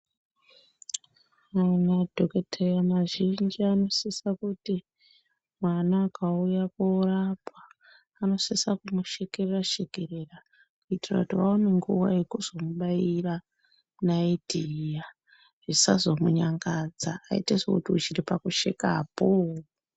Madhokoteya mazhinji anosisa kuti mwana akauya korapwa, anosisa kumushekerera-shekerera. Kuitira kuti vaone nguva yekuzomubaira naiti iya zvisazomunyangadza aite sekuti uchiri pakushekapo.